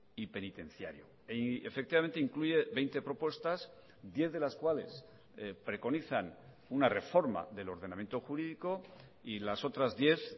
y penitenciario y efectivamente incluye veinte propuestas diez de las cuales preconizan una reforma del ordenamiento jurídico y las otras diez